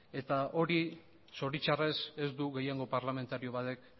eta hori zoritxarrez ez du gehiengo parlamentario batek